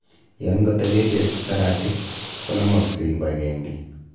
Yon koteben beek saratik, konomokse kibagenge.